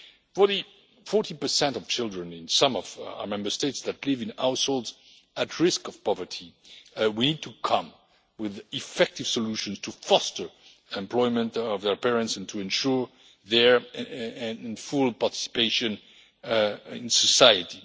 For the 40 of children in some of our Member States that live in households at risk of poverty, we need to come with effective solutions to foster employment of their parents and to ensure their full participation in society.